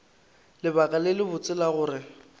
lebaka le lebotse la gore